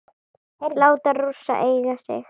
Láta Rússa eiga sig?